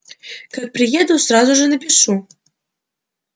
как приеду сразу же напишу